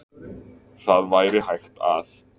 Það væri hægt að